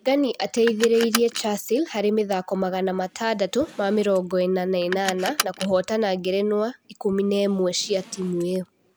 Regani ateithĩrĩirie Chasile harĩ mĩthako magana matandatũ ma mĩrongo-ĩna na ĩnana, na kũhoota ngerenwa ngerenwa ikũmi na ĩmwe cia timu ĩyo.